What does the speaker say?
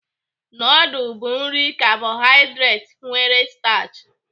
Nudul bụ nri kabohaịdret nwere stachị.